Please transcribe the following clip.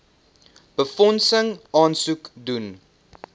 befondsing aansoek doen